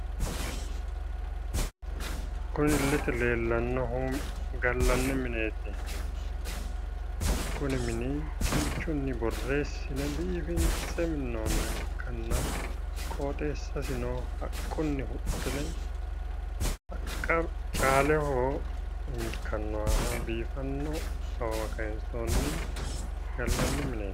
kunni illete leelannohu gallanni mineeti kinchunni borreesine minnoonni mineeti qoxeesasino haunni haqa calleho ikkanohu biffise awawa kaysooni gallanni mineeti